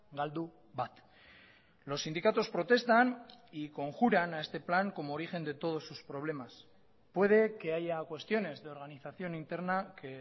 galdu bat los sindicatos protestan y conjuran a este plan como origen de todos sus problemas puede que haya cuestiones de organización interna que